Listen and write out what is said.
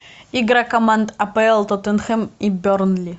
игра команд апл тоттенхэм и бернли